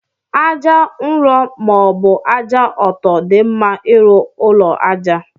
Aja nrọ ma ọbu aja ọtọ di mma irụ ụlọ aja.